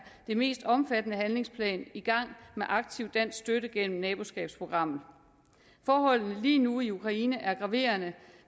den mest omfattende handlingsplan i gang med aktiv dansk støtte gennem naboskabsprogrammet forholdene lige nu i ukraine er graverende